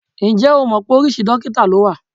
Ǹjẹ́ o mọ̀ pé oríṣi dókítà ló wà?